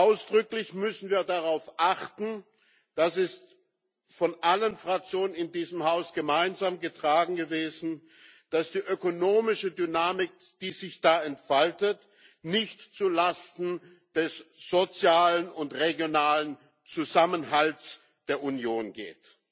Ausdrücklich müssen wir darauf achten das wurde von allen Fraktionen in diesem Haus gemeinsam getragen gewesen dass die ökonomische Dynamik, die sich da entfaltet, nicht zulasten des sozialen und regionalen Zusammenhalts der Union geht.